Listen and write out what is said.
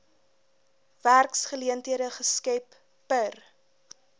werksgeleenthede geskep per